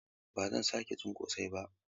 Ba zan sake cin ƙosai ba.